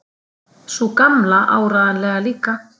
Sú Gamla áreiðanlega líka.